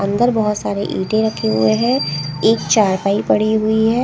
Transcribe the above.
अंदर बहुत सारे ईटे रखे हुए हैं एक चारफाई पड़ी हुई हैं ।